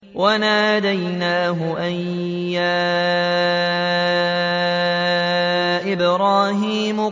وَنَادَيْنَاهُ أَن يَا إِبْرَاهِيمُ